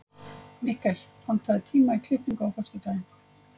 Mikkel, pantaðu tíma í klippingu á föstudaginn.